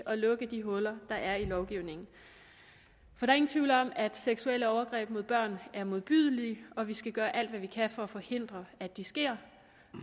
at lukke de huller der er i lovgivningen der er ingen tvivl om at seksuelle overgreb mod børn er modbydelige og at vi skal gøre alt hvad vi kan for at forhindre at de sker